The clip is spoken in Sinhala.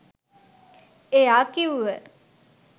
එයා කිව්ව